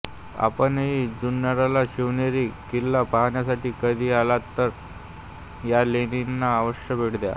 आपणही जुन्नरला शिवनेरी किल्ला पाहण्यासाठी कधी आलात तर या लेणीला आवश्य भेट द्या